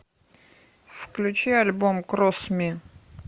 включи альбом кросс ми